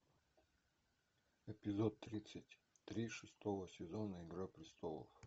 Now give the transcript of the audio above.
эпизод тридцать три шестого сезона игра престолов